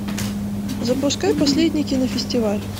запускай последний кинофестиваль